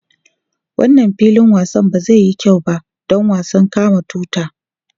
Wannan filin wasan ba zai yi kyau ba don wasan kama tuta.